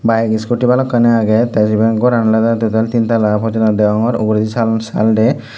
bike scooty balokkani aage te siben goran olode total tin tala gochunne degongor uguredi saal saal de.